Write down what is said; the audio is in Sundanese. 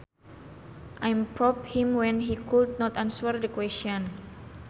I prompted him when he could not answer the question